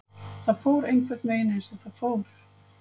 Það fór einhvernveginn eins og það fór.